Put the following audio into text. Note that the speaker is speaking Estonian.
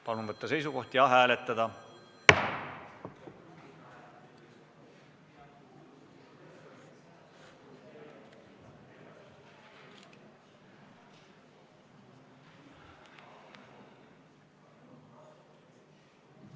Palun võtta seisukoht ja hääletada!